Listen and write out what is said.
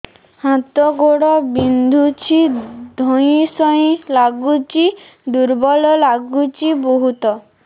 ହାତ ଗୋଡ ବିନ୍ଧୁଛି ଧଇଁସଇଁ ଲାଗୁଚି ଦୁର୍ବଳ ଲାଗୁଚି ବହୁତ